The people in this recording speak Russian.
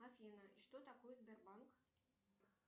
афина что такое сбербанк